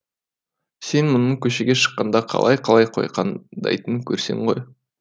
сен мұның көшеге шыққанда қалай қалай қойқаңдайтынын көрсең ғой